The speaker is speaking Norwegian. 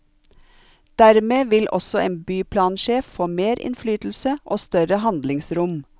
Dermed vil også en byplansjef få mer innflytelse og større handlingsrom.